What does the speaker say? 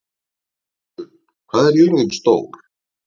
Gissunn, hvað er jörðin stór?